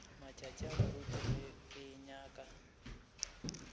matšatši moruti ge ke nyaka